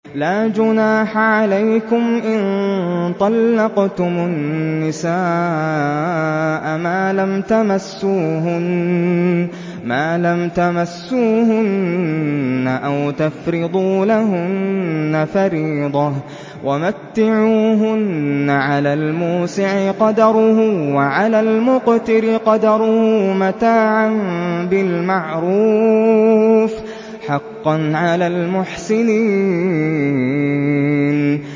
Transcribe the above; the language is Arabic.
لَّا جُنَاحَ عَلَيْكُمْ إِن طَلَّقْتُمُ النِّسَاءَ مَا لَمْ تَمَسُّوهُنَّ أَوْ تَفْرِضُوا لَهُنَّ فَرِيضَةً ۚ وَمَتِّعُوهُنَّ عَلَى الْمُوسِعِ قَدَرُهُ وَعَلَى الْمُقْتِرِ قَدَرُهُ مَتَاعًا بِالْمَعْرُوفِ ۖ حَقًّا عَلَى الْمُحْسِنِينَ